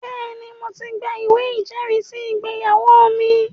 Bẹ́ẹ̀ni, mo ti gba ìwé ìjẹ́rìísí ìgbéyàwó mi